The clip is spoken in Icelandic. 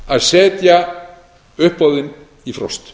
að setja uppboðin í frost